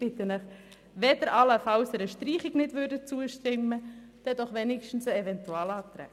Ich bitte Sie, wenigstens dem Eventualantrag zuzustimmen, wenn Sie allenfalls einer Streichung nicht zustimmen können.